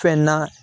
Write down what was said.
Fɛn na